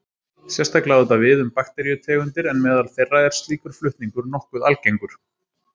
Sérstaklega á þetta við um bakteríutegundir en meðal þeirra er slíkur flutningur nokkuð algengur.